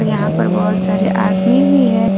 यहां पर बहोत सारे आदमी भी है।